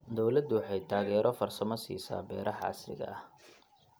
Dawladdu waxay taageero farsamo siisaa beeraha casriga ah.